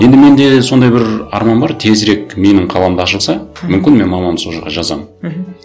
енді менде сондай бір арман бар тезірек менің қаламда ашылса мүмкін мен мамамды сол жаққа жазамын мхм